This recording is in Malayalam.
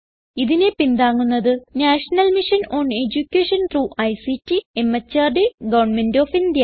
ഇതിനെ പിന്താങ്ങുന്നത് national mission on education through ICT MHRD government of India